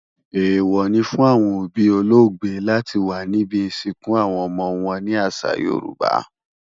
Èèwọ̀ ni fún àwọn òbí olóògbé láti wà níbi ìsìnkú àwọn ọmọ wọn ní àṣà Yorùbá.